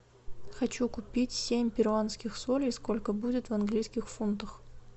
хочу купить семь перуанских солей сколько будет в английских фунтах